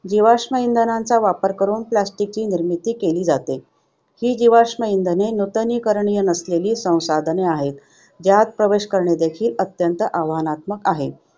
जीवाश्म इंधनांचा वापर करून plastic ची निर्मिती केली जाते. ही जीवाश्म इंधने नूतनीकरणीय नसलेली संसाधने आहेत ज्यात प्रवेश करणे देखील अत्यंत आव्हानात्मक आहे.